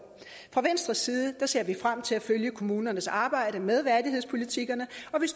fra venstres side ser vi frem til at følge kommunernes arbejde med værdighedspolitikkerne